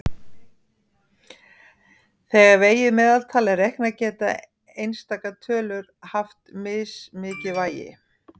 Þegar vegið meðaltal er reiknað geta einstakar tölur haft mismikið vægi.